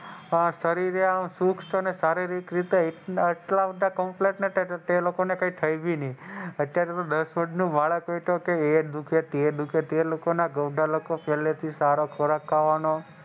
શરીરે સુખ અને શારીરિક રીતે કૅમ્પલેટે હતા અત્યારે તો દસ વરશ ના બાળક ને એ દુખે તે દુખે તે લોકો માટે પેહલે થી સારો ખોરાક ખાવાનો,